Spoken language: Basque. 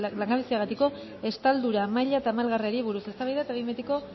langabeziagatiko estaldura maila tamalgarriari buruz eztabaida eta behin betiko